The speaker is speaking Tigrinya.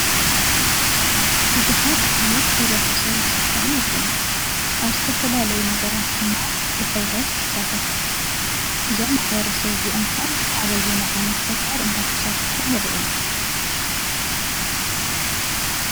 ብዙሓት ዓይነት ሕብረተሰብን ስድራን ኣለው። ኣብ ዝተፈላለዩ ነገራት ድማ ብሕብረት ይሳተፉ ። እዞም ማሕበረሰብ እዚኦም ከ ኣበይናይ ዓይነት ተግባር እንዳተሳተፉ ንሪኦም ?